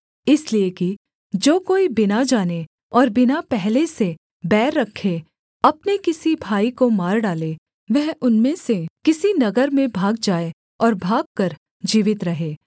इसलिए कि जो कोई बिना जाने और बिना पहले से बैर रखे अपने किसी भाई को मार डाले वह उनमें से किसी नगर में भाग जाए और भागकर जीवित रहे